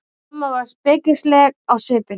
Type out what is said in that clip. Amma var spekingsleg á svipinn.